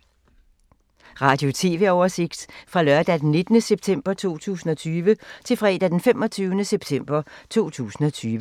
Radio/TV oversigt fra lørdag d. 19. september 2020 til fredag d. 25. september 2020